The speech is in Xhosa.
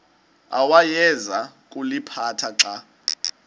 awayeza kuliphatha xa